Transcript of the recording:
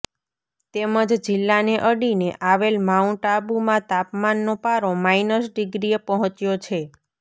તેમજ જિલ્લાને અડીને આવેલ માઉન્ટઆબુમાં તાપમાનનો પારો માઇનસ ડીગ્રીએ પહોચ્યો છે